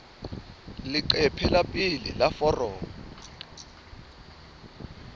leqephe la pele la foromo